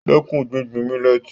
Dẹ́kun gbígbin mílẹ́tì